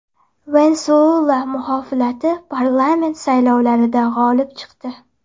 Venesuela muxolifati parlament saylovlarida g‘olib chiqdi .